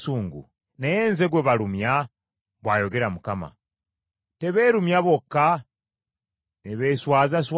Naye nze gwe balumya?” bw’ayogera Mukama . “Tebeerumya bokka, ne beeswazaswaza?”